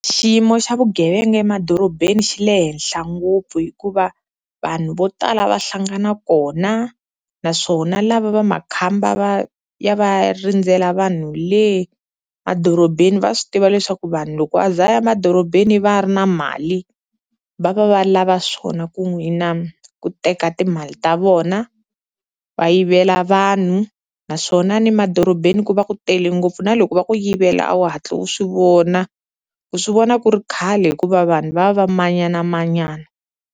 Xiyimo xa vugevenga emadorobeni xi le henhla ngopfu hikuva vanhu vo tala va hlangana kona naswona lava va makhamba va ya va ya rindzela vanhu le madorobeni, va swi tiva leswaku vanhu loko a ze a ya emadorobeni u va a ri na mali, va va va lava swona ku n'wina ku teka timali ta vona va yivela vanhu naswona ni madorobeni ku va ku tele ngopfu na loko va ku yivela a wu hatli u swi vona, u swi vona ku ri khale hikuva vanhu va va va manyanamanyana.